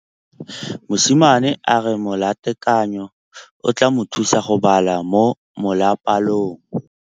Mosimane a re molatekanyô o tla mo thusa go bala mo molapalong.